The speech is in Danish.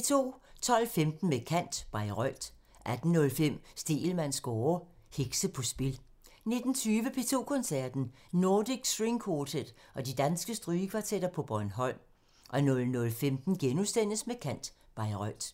12:15: Med kant – Bayreuth 18:05: Stegelmanns score: Hekse på spil 19:20: P2 Koncerten – Nordic String Quartet og de danske strygekvartetter på Bornholm 00:15: Med kant – Bayreuth *